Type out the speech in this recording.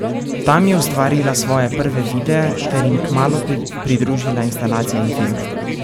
Tam je ustvarila svoje prve videe ter jim kmalu pridružila instalacije in filme.